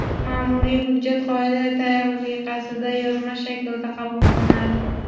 maʼmuriy hujjat qoida tariqasida yozma shaklda qabul qilinadi.